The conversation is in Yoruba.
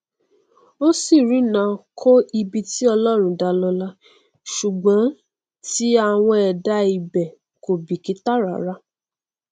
ọràn má wàá dé báyìí o pásítọ fún ọmọ ẹ lóyún lẹẹmẹta lọwọdeẹgbàdo ò tún ṣe é